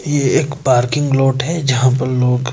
ये एक parking lot है जहां पर लोग--